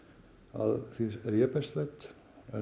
að því er ég best veit